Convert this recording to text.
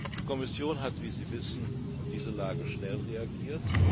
Die Kommission hat, wie Sie wissen, auf diese Lage schnell reagiert.